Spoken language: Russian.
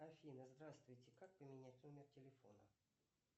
афина здравствуйте как поменять номер телефона